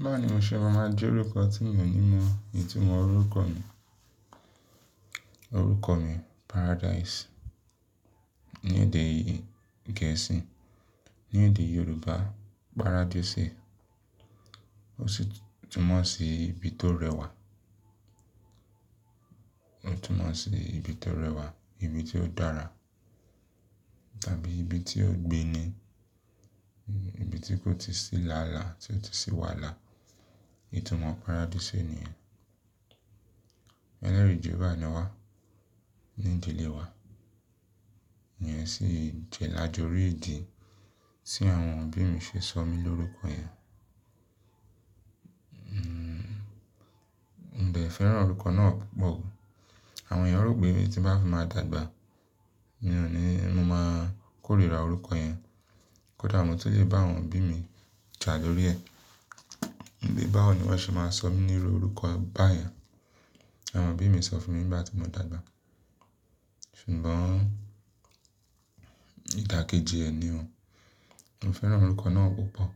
Báwo ní mo ṣe máa ma jẹ́ orúkọ tí mi o ní mọ̀, ìtumọ̀ orúkọ mi, orúkọ mi Paradise ní èdè Gẹ̀ẹ́sì, ní èdè Yorùbá Paradise. Ó sì túmọ̀ sí ibi tó rẹwà. Ó túmọ̀ sí ibi tó rẹwà, ibi tí ó dára tàbí ibi tí ó gbin ni, ibi tí kò tí sí làálàá, tí ó ti sí wàláà. Ìtumọ̀ Paradísì nìyẹn. Níwá ní ìdílé wa. Ìyẹn sì jẹ́ lájọ orí ìdí tí àwọn òbí mi ṣe sọ mí lórúkọ yẹn. N ò dẹ̀ fẹ́ràn orúkọ náà púpọ̀. Àwọn èèyàn rò pé tí bá fi máa dàgbà, mi ò ní máa kórìíra orúkọ yẹn. Kódà mo tó tún lè bá àwọn òbí mi tà lórí ẹ. Ǹbí báwo ni wọ́n ṣe máa sọ mí nírú orúkọ báyẹn? Àwọn òbí mi sọ fún mi nígbà tí mo dàgbà. Ṣùgbọ́n ìdàkejì ẹ̀ ni o. Mo fẹ́ràn orúkọ náà púpọ̀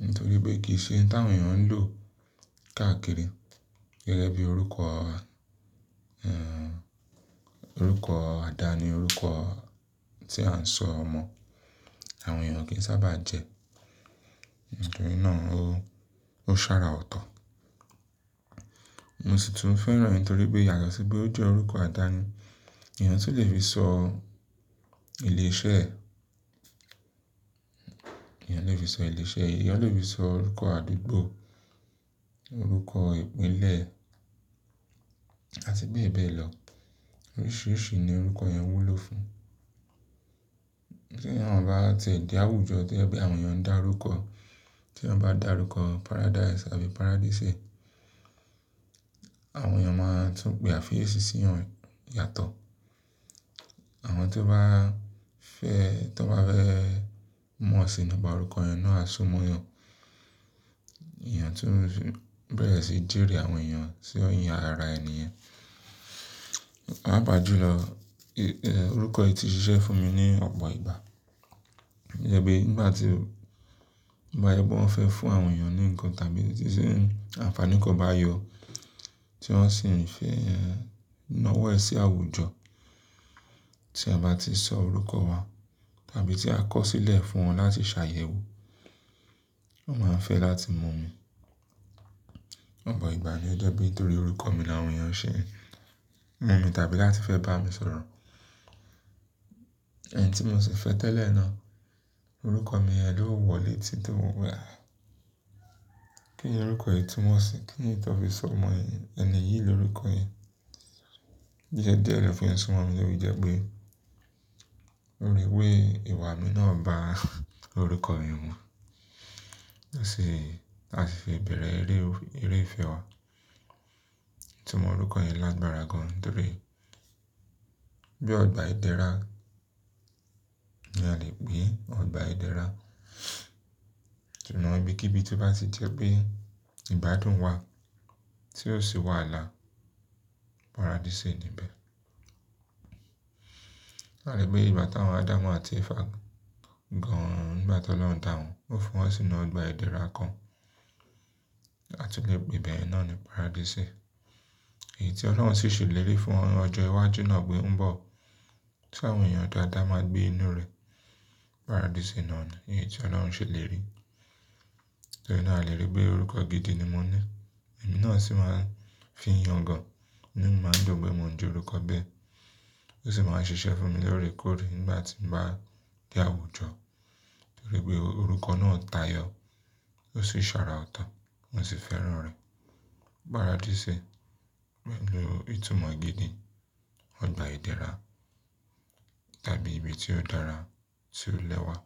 nítorí pé kì í ṣe ǹ ta àwọn èèyàn ń lò káàkiri gẹ́gẹ́ bí orúkọ, orúkọ àdáni, orúkọ tí à ń sọ ọmọ, àwọn èèyàn kì í sábà jẹ́. Nítorí náà ó, ó ṣára ọ̀tọ̀. Mo sì tún fẹ́ràn rẹ̀ nítorí pé ìyàsọ́tọ̀ pé ó jẹ́ orúkọ àdáni. Èèyàn tún lè fi sọ ilé iṣẹ́, èèyàn lè fi sọ ilé iṣẹ́, èèyàn lè fi sọ orúkọ àdúgbò, orúkọ ìpínlẹ̀ àti bẹ́ẹ̀ bẹ́ẹ̀ lọ. Oríṣìíríṣìí ni orúkọ yẹn wúlò fún. Kí èèyàn bá ti di àwùjọ, kí èèyàn bá di àwùjọ, kí èèyàn bá dàrúkọ Paradise àbí Paradísì, àwọn èèyàn máa tún gbé àfiyèsí sí yẹn yàtọ̀. Àwọn tó bá fẹ́, tó bá fẹ́ mú ọ̀sìnà bá orúkọ yẹn náà, a súmọ́ wọn. Èèyàn tó ń bẹ̀rẹ̀ sí í jèrè àwọn èèyàn sì ó yan ara ẹni yẹn. Paápa jùlọ orúkọ yìí ti ṣiṣẹ́ fún mi ní ọ̀pọ̀ ìgbà. To jẹ pé nígbà tí bá ẹgbọ́n fẹ́ fún àwọn èèyàn ní nǹkan tàbí tí àǹfàní kò bá yọ, tí wọ́n sì ń fẹ́ ná wọ́ ẹ sí àwùjọ, tí a bá ti sọ orúkọ wa tàbí tí a kọ̀ sílẹ̀ fún wọn láti ṣàyẹ̀wò, wọ́n máa ń fẹ́ láti mọ̀ mi. Ọ̀pọ̀ ìgbà ní ó jọ bí torí orúkọ mi la àwọn èèyàn ṣe mọ̀ mi tàbí láti fẹ́ bá mi sọ̀rọ̀. Ẹ̀ni tí mo sì fẹ́ tẹ́lẹ̀ náà, orúkọ mi ẹ lo wọlé títí mo wẹ̀. Kí ni orúkọ yìí túmọ̀ sí? Kí ni ìtọ́ fi sọ ọmọ ẹni yìí lórúkọ yìí? Jíjẹ́ díẹ̀ lọ fi ń sọ mọ̀ mí lórí ìjẹ́ pé orí wé ìwà mi náà bá orúkọ mi wọ́n. A sì fi bẹ̀rẹ̀ eré, eré ìfẹ́ wa. Ìtumọ̀ orúkọ yẹn lágbára gan-an dúró. Bí ọgbà ìdẹ́ra ni a lè pè é, ọgbà ìdẹ́ra. Tùnú ẹbí kíbí tó bá ti jẹ́ pé ìgbádùn wa tí ó sì wàhálà, Párádísè ni bẹ́ẹ̀. A lè gbé ìgbà tí àwọn Ádámù àti Ẹ̀fà gan-an, nígbà tí Ọlọ́run dà wọ́n, ó fún wọn sí inú ọgbà ìdẹ́ra kan. A tún lè pè ibẹ̀ náà ni Párádísè. Èyí tí Ọlọ́run sì ṣèlérí fún wọn ọjọ́ iwájú náà pé ń bọ̀, tí àwọn èèyàn dáadáa máa gbé inú rẹ̀, Párádísè náà ni èyí tí Ọlọ́run ṣèlérí. Lóòrè náà a lè rí pé orúkọ gidi ni mo ní. Ẹ̀mí náà sì máa fi yan gan-an. Níbo máa dùn pé mo ń jẹ́ orúkọ bẹ́ẹ̀. Ó sì máa ń ṣiṣẹ́ fún mi lóòrèkóòrè nígbà tí n bá di àwùjọ. Nítorí pé orúkọ náà tàyọ́, ó sì sára ọ̀tọ̀, mo sì fẹ́ràn rẹ̀. Párádísè pẹ̀lú ìtumọ̀ gidi, ọgbà ìdẹ́ra tàbí ibi tí ó dára tí ó lẹ́wà.